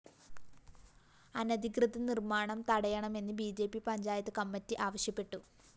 അനധികൃത നിര്‍മ്മാണം തടയണമെന്ന് B J P panchayat committee ആവശ്യപ്പെട്ടു